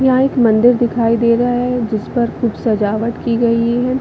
यहाँ एक मंदिर दिखाई दे रहा है जिस पर खूब सजावट की गयी है।